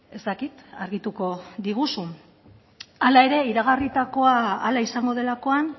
ez dakit argituko diguzun hala ere iragarritakoa hala izango delakoan